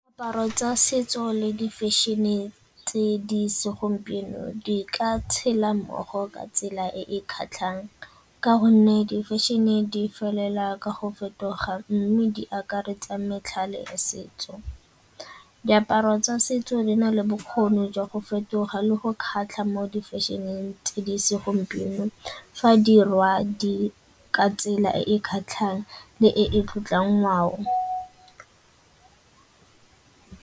Diaparo tsa setso le di-fashion-e tse di segompieno di ka tshela mmogo ka tsela e e kgatlhang ka gonne di-fashion e di felela ka go fetoga mme di akaretsa metlhale ya setso. Diaparo tsa setso di na le bokgoni jwa go fetoga le go kgatlha mo di-fashion-eng tse di segompieno fa dirwa di ka tsela e kgatlhang le e tlotlang ngwao tsona.